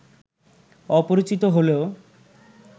অপরিচিত হলেও